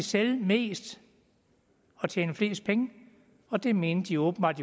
sælge mest og tjene flest penge og det mente de åbenbart